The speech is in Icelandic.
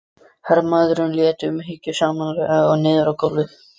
Hermaðurinn lét hann umhyggjusamlega niður á gólfið.